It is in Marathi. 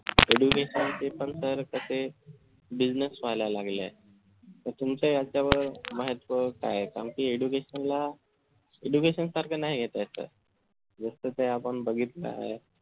education ते पण तर कसे business व्हायला लागेल तुमच्या याच्यावर महत्व काय आहे कारण कि education ला जे education सारखं नाही घेता येत sir जस कि आपण बघितलं आहे